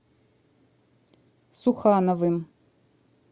сухановым